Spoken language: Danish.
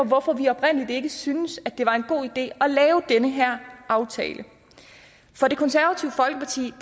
hvorfor vi oprindeligt ikke syntes at det var en god idé at lave den her aftale for det konservative folkeparti